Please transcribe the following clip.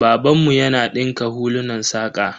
Babanmu yana dinka hulunan saƙa.